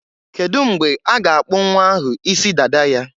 Kedu mgbe a ga-akpụ nnwa ahụ isi dada ya?